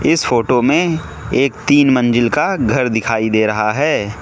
इस फोटो में एक तीन मंजिल का घर दिखाई दे रहा है।